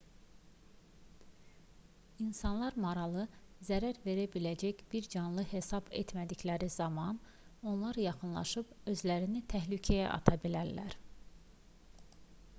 i̇nsanlar maralı zərər verə biləcək bir canlı hesab etmədikləri zaman ona yaxınlaşıb özlərini təhlükəyə ata bilərlər